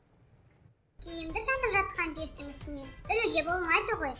киімді жанып жатқан пештің үстіне ілуге болмайды ғой